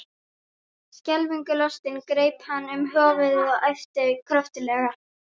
Skelfingu lostinn greip hann um höfuðið og æpti kröftuglega.